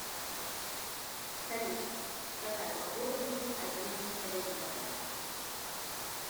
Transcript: салют какая погода будет одиннадцатого декабря